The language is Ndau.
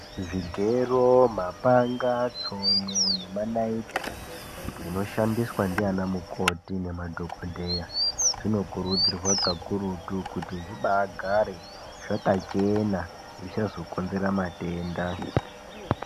Zvigero, mapanga, tsono nemanariti zvinoshandiswa nana mukoti nanadhogodheya zvinokurudzirwa kakutu kuti zvigare zvakachena zvisazokonzera matenda.